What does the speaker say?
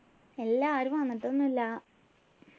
ഇല്ല ആരും വന്നിട്ടൊന്നു ഇല്ല